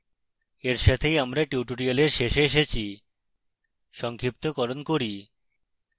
এর সাথে আমরা tutorial শেষে এসেছি